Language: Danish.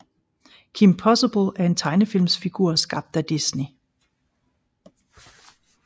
Kim Possible er en tegnefilmsfigur skabt af Disney